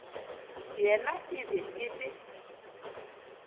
yena e be e le